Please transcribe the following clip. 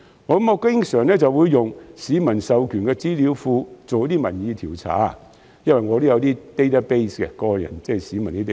我經常利用市民授權的資料庫進行民意調查，因為我有些市民的 database。